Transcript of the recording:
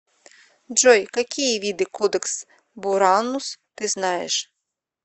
джой какие виды кодекс буранус ты знаешь